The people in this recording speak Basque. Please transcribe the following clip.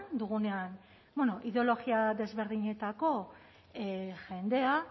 dugunean bueno ideologia desberdinetako jendea